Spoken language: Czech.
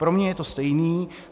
Pro mě je to stejné.